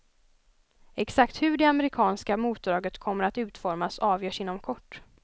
Exakt hur det amerikanska motdraget kommer att utformas avgörs inom kort.